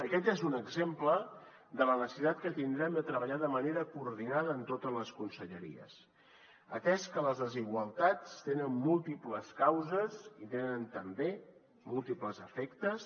aquest és un exemple de la necessitat que tindrem de treballar de manera coordinada en totes les conselleries atès que les desigualtats tenen múltiples causes i tenen també múltiples efectes